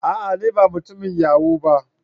A'a! ne ba mutumin yahoo ba.